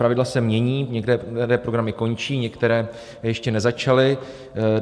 Pravidla se mění, některé programy končí, některé ještě nezačaly.